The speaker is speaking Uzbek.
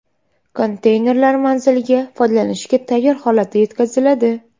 Konteynerlar manzilga foydalanishga tayyor holatda yetkaziladi.